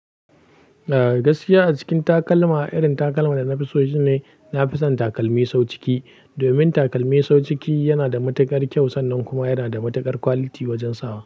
Eh, gaskiya a cikin takalma, irin takalma da na fi so shine nafi son takalmi sau ciki. Domin takalmi sau ciki yana da matuƙar kyau sannan kuma yana da matuƙar quality wajen sawa.